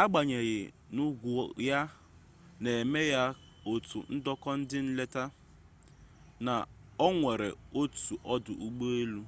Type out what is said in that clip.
agbanyeghị n'ugwu ya na-eme ya otu ndọta ndị nleta na o nwere otu ọdụ ụgbọelu